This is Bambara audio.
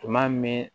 Tuma min